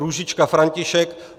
Růžička František